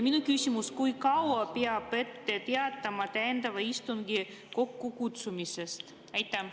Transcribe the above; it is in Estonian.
Minu küsimus: kui kaua peab ette teatama täiendava istungi kokkukutsumisest?